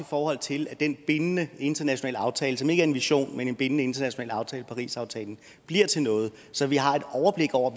forhold til at den bindende internationale aftale som ikke er en vision men en bindende international aftale parisaftalen bliver til noget så vi har et overblik over